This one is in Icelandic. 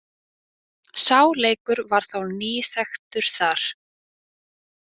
Sá leikur var þá nýþekktur þar.